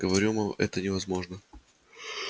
говорю вам это невозможно